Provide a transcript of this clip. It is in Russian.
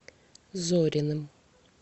зориным